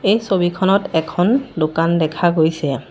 এই ছবিখনত এখন দোকান দেখা গৈছে।